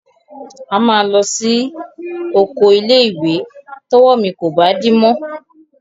A máa lọ sí oko ilé-ìwé tọ́wọ́ mi kò bá dí mọ́.